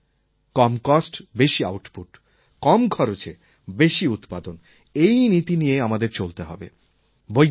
আমি তো ভাবি কম কস্ট বেশি আউটপুট কম খরচে বেশি উৎপাদন এই নীতি নিয়ে আমাদের চলতে হবে